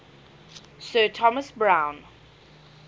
sir thomas browne